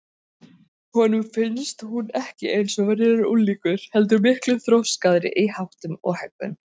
Honum fannst hún ekki eins og venjulegur unglingur heldur miklu þroskaðri í háttum og hegðun.